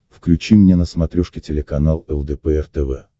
включи мне на смотрешке телеканал лдпр тв